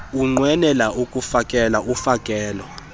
unqwenela ukufakela ufakelo